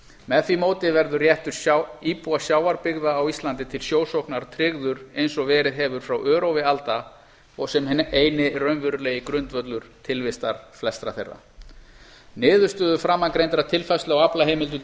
með því móti verður réttur íbúa sjávarbyggða á íslandi til sjósóknar tryggður eins og verið hefur frá örófi alda sem eini raunverulegi grundvöllur tilvistar flestra þeirra niðurstöður framangreindrar tilfærslu á aflaheimildum til